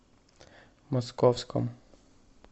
московском